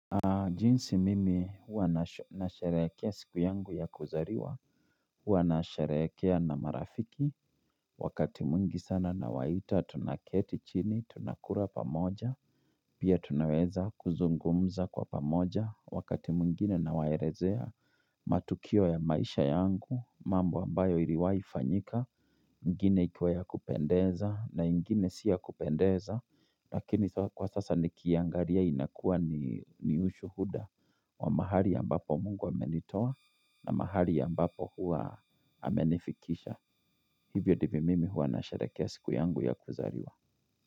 Jinsi mimi uanasharekea siku yangu ya kuzariwa, uanasharekea na marafiki, wakati muingi sana nawaita tunaketi chini, tunakura pamoja, pia tunaweza kuzungumza kwa pamoja, wakati muingine na waerezea matukio ya maisha yangu, mambo ambayo iriwai fanyika, ingine ikiwaya kupendeza, na igine siya kupendeza, lakini kwa sasa ni kiangaria inakua ni ushuhuda. Wa mahali ya mbapo mungu hamenitowa na mahali ya mbapo huwa hamenifikisha Hivyo dibi mimi huwa na sherekea siku yangu ya kuzariwa.